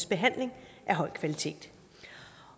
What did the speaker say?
behandling af høj kvalitet